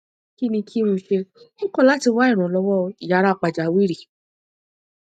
kí ni kí n ṣe ó kọ láti wá ìrànlọwọ yàrá pàjáwìrì